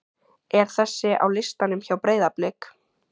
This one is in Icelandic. er þessi á listanum hjá Breiðablik?